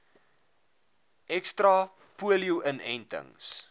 ekstra polio inentings